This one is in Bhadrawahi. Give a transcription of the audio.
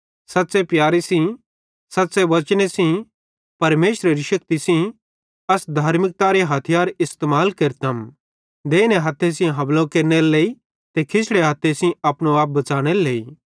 सच़्च़े प्यारे सेइं सच़्च़े वचने सेइं परमेशरेरे शेक्ति सेइं अस धार्मिकतारे हथियारन इस्तेमाल केरतम देइने हथ्थे सेइं हमलो केरनेरे लेइ ते खिशड़े हथ्थे सेइं अपनो आप बच़ानेरे लेइ